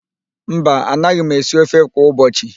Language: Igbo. Mba, anaghị m esi ofe kwa ụbọchị..